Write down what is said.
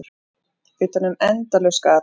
Utanum endalaust gat.